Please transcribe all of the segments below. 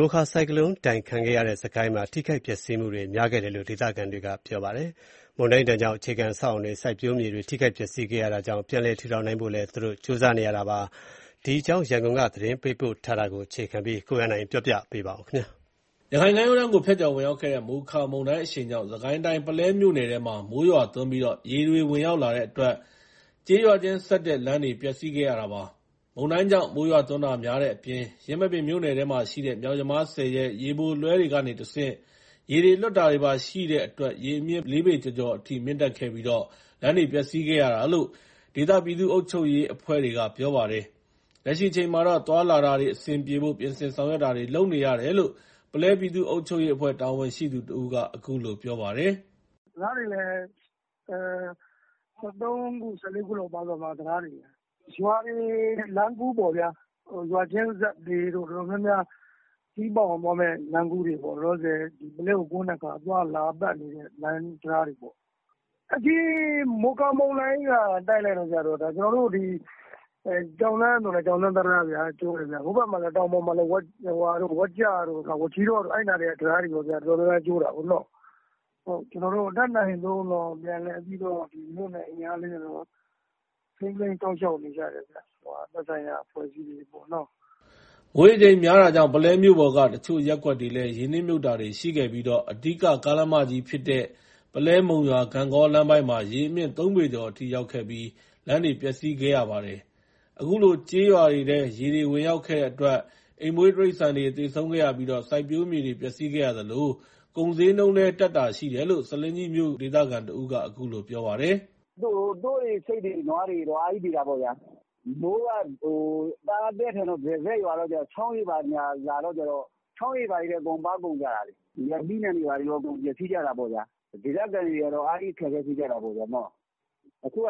မိုခါဆိုင်ကလုန်းမုန်တိုင်းဒဏ်ခံခဲ့ရတဲ့ စစ်ကိုင်းတိုင်းမှာ ထိခိုက်ပျက်စီးမှုတွေ များခဲ့တယ်လို့ ဒေသခံတွေက ပြောပါတယ်။ မုန်တိုင်းဒဏ်ကြောင့် အခြေခံအဆောက်အအုံတွေ၊ စိုက်ပျိုးမြေတွေ ထိခိုက်ပျက်စီးခဲ့ရတာကြောင့် ပြန်လည် ထူထောင်နိုင်ဖို့လည်း ကြိုးစားနေရတာပါ။ စစ်ကိုင်းတိုင်းက မုန်တိုင်းသင့် အခြေအနေတွေနဲ့ ပတ်သက်လို့ ရန်ကုန်က သတင်းပေးပို့ ထားတာကို အခြေခံပြီး ကိုရန်နိုင် ပြောပြပါမယ်။ ရခိုင်ကမ်းရိုးတန်းကို ဖြတ်ကျော်ဝင်ရောက်ခဲ့တဲ့ မိုခါမုန်တိုင်းအရှိန်ကြောင့် စစ်ကိုင်းတိုင်း ပုလဲမြို့နယ်ထဲမှာ မိုးရွာသွန်းပြီး ရေတွေဝင်ရောက်လာတဲ့အတွက် ကျေးရွာချင်းဆက် လမ်းတွေ ပျက်စီးခဲ့ရတာပါ။ မုန်တိုင်းကြောင့်မိုးရွာသွန်းတာများတဲ့အပြင် ယင်းမာပင်မြို့နယ်ထဲမှာရှိတဲ့ မြောက်ယမားဆည်ရဲ့ ရေပိုလွှဲတွေကနေတဆင့် ရေတွေလွှတ်တာတွေပါရှိတဲ့အတွက် ရေအမြင့် ၄ ပေကျော်ကျော်အထိ မြင့်တက်ခဲ့ပြီး လမ်းတွေ ပျက်စီးခဲ့ရတာလို့ ဒေသပြည်သူ့အုပ်ချုပ်ရေးအုပ်ချုပ်ရေးအဖွဲ့တွေက ပြောပါတယ်။ လက်ရှိအချိန်မှာ သွားလာတာ အဆင်ပြေဖို့ ပြင်ဆင်ဆောင်ရွက်တာတွေ လုပ်နေရတယ်လို့ ပုလဲပြည်သူ့ အုပ်ချုပ်ရေး အဖွဲ့ တာဝန်ရှိသူ တဦးက အခုလို ပြောပါတယ်။ “တံတာားတွေလည်း ၁၃ ခု ၁၄ ခုလောက်ပါသွားတယ်။ ရွာတွေလမ်းကူးပေါ့ဗျာ ရွာချင်းဆက်တွေ တော်တော်များများခရီးပေါက်အောင်သွားမယ့် လမ်းကူးတွေပေါ့ လောလောဆယ် ပုလဲကိုကွင်းတဲ့ သွားလာတဲ့လမ်းတံတားတွေပေါ့။ ဒီမိုခါမုန်တိုင်းက တိုက်လိုက်တဲ့အခါကျတော့ ကျွန်တော်တို့ ဒီ ကျောက်လမ်းဆိုလည်း ကျောက်လမ်း တံတားဗျာ။ ဟိုဘက်တောင်ပေါ် ဝက်ကျတို့ မကျီးတောတို့ဘက်က တံတားတွေလည်း တော်တော်ကျိုးတာပေါ့။ ကျွန်တော်တို့ တတ်နိုင်သလောက် မြို့နယ်အင်အား လေးနဲ့တော့ ထိန်းသိမ်းစောင့်ရှောက်နေကြတယ်ခင်ဗျ။ သက်ဆိုင်ရာ အဖွဲ့အစည်းတွေပေါ့နော်။” မိုးရေချိန်များတာကြောင့် ပုလဲမြို့ပေါ်က အချို့ရပ်ကွက်တွေလည်း ရေနစ်မြှုပ်တာတွေရှိခဲ့ပြီး အဓိက ကားလမ်းမကြီးဖြစ်တဲ့ ပုလဲ-မုံရွာ-ဂန့်ဂေါ် လမ်းပိုင်းမှာ ရေအမြင့် ၃ ပေကျော်အထိရောက်ခဲ့ပြီး လမ်းတွေ ပျက်စီးခဲ့ရပါတယ်။ အခုလို ကျေးရွာတွေထဲ ရေတွေဝင်ရောက်ခဲ့တဲ့အတွက် အိမ်မွှေး တိရစ္ဆာန်တွေ သေဆုံးခဲ့ရပြီး စိုက်ပျိုးမြေတွေ ပျက်စီးခဲ့ရသလို ကုန်ဈေးနှုန်းလည်း တက်တာရှိတယ်လို့ ဆားလင်းကြီးမြို့ ဒေသခံတဦးက အခုလို ပြောပါတယ်။ “သိုးတွေ ဆိတ်တွေ နွားတွေ အားကြီးသေတာပေါ့ဗျာ။ မိုးကသည်းထန်တော့ တရစပ်ရွာတဲ့အခါကျတော့ ချောင်းရေဘာညာ လာတဲ့အခါကျတော့ ချောင်းရေတွေထဲ အကုန်ပါကုန်ကြတာလေ။ သီးနှံတွေလည်း အကုန်ပျက်စီးကြတာပေါ့ဗျာ။ ဒေသခံတွေက အားကြီး အခက်အခဲဖြစ်ကြတာပေါ့။ အခုက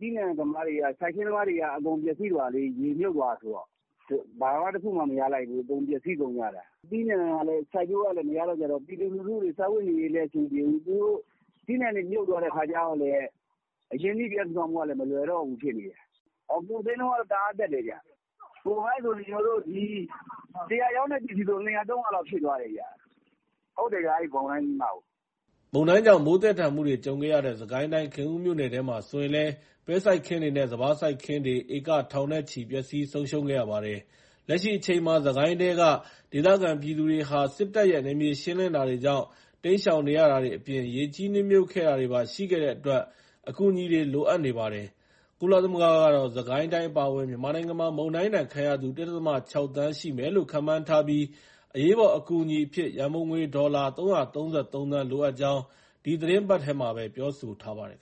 သီးနှံသမားတွေ စိုက်ခင်းသမားတွေက အကုန်ပျက်စီးသွားတာ ရေမြှုပ်သွားတာဆိုတော့ ဘာတခုမှ မရလိုက်ဘူး။ အကုန်ပျက်စီး ကုန်ကြတာ။ သီးနှံကလည်း စိုက်ပျိုးလို့မရတော့ ပြည်သူလူထုတွေ စားဝတ်နေရေးလည်း အဆင်မပြေဘူး။ သီးနှံတွေ မြုပ်သွားတဲ့အခါကျတော့လည်း အရင်းနှီးပြန်ထူထောင်ဖို့ကလည်း မလွယ်တော့ဘူးဖြစ်နေတယ်။ ကုန်ဈေးနှုန်းက တအားတက်တယ်ခင်ဗျ။ ၁၀၀ ရောင်းတဲ့ ပစ္စည်းဆို ၂၀၀/၃၀၀ လောက်ဖြစ်သွားတယ်။ ဟုတ်တယ် မုန်တိုင်းပြီးမှကို။” မုန်တိုင်းကြောင့် မိုးသည်းထန်မှုတွေ ကြုံခဲ့ရတဲ့ စစ်ကိုင်းတိုင်း ခင်ဦးမြို့နယ်ထဲမှာဆိုရင်လည်း ပဲစိုက်ခင်းတွေနဲ့ စပါးစိုက်ခင်းတွေ ဧက ထောင်နဲ့ချီ ပျက်စီး ဆုံးရှုံးခဲ့ရပါတယ်။ လက်ရှိအချိန်မှာ စစ်ကိုင်းထဲက ဒေသခံပြည်သူတွေဟာ စစ်တပ်ရဲ့ နယ်မြေရှင်းလင်းတာတွေကြောင့် တိမ်းရှောင်နေရတာတွေအပြင် ရေကြီး နစ်မြှုပ်ခဲ့တာတွေပါ ရှိခဲ့အတွက် အကူအညီတွေ လိုအပ်နေပါတယ်။ ကုလသမဂ္ဂကတော့ စစ်ကိုင်းတိုင်း အပါအဝင် မြန်မာနိုင်ငံမှာ မုန်တိုင်းဒဏ်ခံရသူ ၁.၆ သန်း ရှိမယ်လို့ ခန့်မှန်းထားပြီး၊ အရေးပေါ်အကူအညီအဖြစ် ရန်ပုံငွေ ဒေါ်လာ ၃၃၃ သန်း လိုအပ်ကြောင်း ဒီသီတင်းပတ်ထဲမှာပဲ ပြောဆိုထားပါတယ်